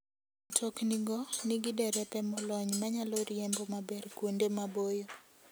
Mtoknigo nigi derepe molony manyalo riembo maber kuonde maboyo.